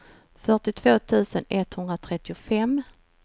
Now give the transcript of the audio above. fyrtiotvå tusen etthundratrettiofem